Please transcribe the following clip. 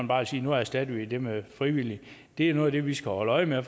bare sige at nu erstatter vi det med frivillige det er noget af det vi skal holde øje med